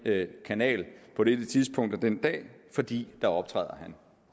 kanal på det tidspunkt af den dag fordi der optræder han